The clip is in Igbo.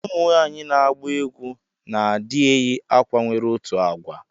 Ụmụnwanyi na agba egwu na adi eyi akwa nwere otụ agwa.